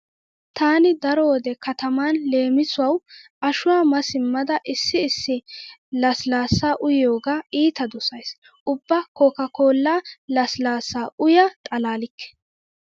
Taani daro wode kataman leemisuwawu ashuwa ma simmada issi issi lasilaassa uyiyogaa iita dosays. Ubba kokka kollaa lasilaassa uya xalalikke.